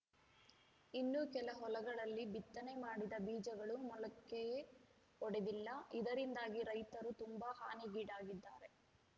ಇನ್ನೂ ಕೆಲ ಹೊಲಗಳಲ್ಲಿ ಬಿತ್ತನೆ ಮಾಡಿದ ಬೀಜಗಳು ಮೊಳಕೆಯೇ ಒಡೆದಿಲ್ಲ ಇದರಿಂದಾಗಿ ರೈತರು ತುಂಬಾ ಹಾನಿಗೀಡಾಗಿದ್ದಾರೆ